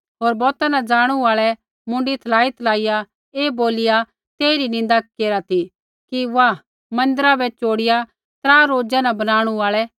होर बौता न ज़ाणू आल़ै मुँडी थलाईथलाइया ऐ बोलिया तेइरी निन्दा केरा ती कि वाह मन्दिरा बै चोड़िया त्रा रोजा न बनाणु आल़ै